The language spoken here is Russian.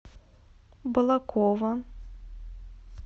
балаково